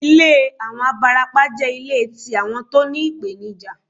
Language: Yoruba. Ilé àwọn abarapá jẹ́ ilé tí àwọn tó ní ìpènijà